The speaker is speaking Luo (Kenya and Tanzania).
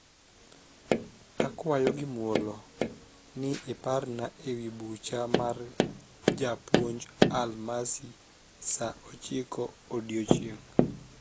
akwayo gi muolo niiparna ewi bucha mar japounj alimasi saa ochiko odieching